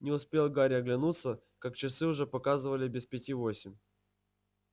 не успел гарри оглянуться как часы уже показывали без пяти восемь